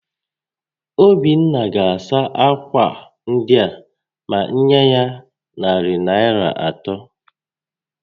Obinna ga-asụ ákwà ndịa ma m nyé ya narị Naịra atọ